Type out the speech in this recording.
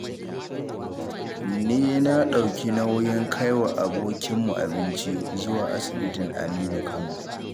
Ni na ɗauki nauyin kaiwa abokinmu abinci, zuwa asibitin Aminu Kano.